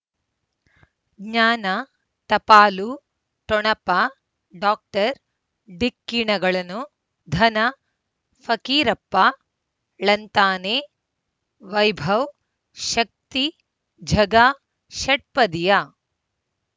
ಜ್ಞಾನ ಟಪಾಲು ಠೊಣಪ ಡಾಕ್ಟರ್ ಢಿಕ್ಕಿ ಣಗಳನು ಧನ ಫಕೀರಪ್ಪ ಳಂತಾನೆ ವೈಭವ್ ಶಕ್ತಿ ಝಗಾ ಷಟ್ಪದಿಯ